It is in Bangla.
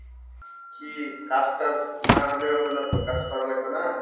কি কাজ টাজ না হলে হবে নাতো কাজ করা লাগবে না